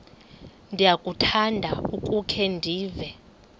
ndiyakuthanda ukukhe ndive